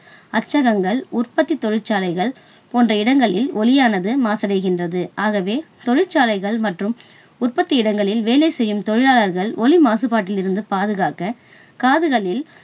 அச்சகங்கள், உற்பத்தி தொழிற்சாலைகள் போன்ற இடங்களில் ஒலியானது மாசடைகின்றது. ஆகவே தொழிற்சாலைகள் மற்றும் உற்பத்தி இடங்களில் வேலை செய்யும் தொழிலாளர்கள் ஒலி மாசுபாட்டில் இருந்து பாதுகாக்க, காதுகளில்